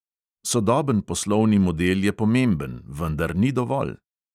Sodoben poslovni model je pomemben, vendar ni dovolj.